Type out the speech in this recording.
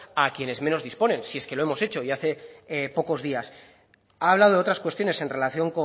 a quienes menos disponen si es que lo hemos hecho y hace pocos días ha hablado de otras cuestiones en relación